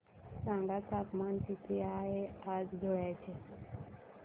सांगा तापमान किती आहे आज धुळ्याचे